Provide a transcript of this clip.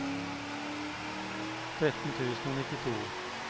tretten tusen og nittito